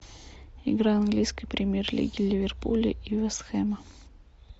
игра английской премьер лиги ливерпуля и вест хем